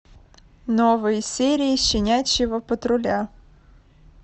новые серии щенячьего патруля